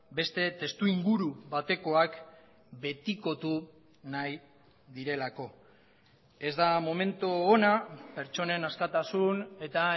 beste testuinguru batekoak betikotu nahi direlako ez da momentu ona pertsonen askatasun eta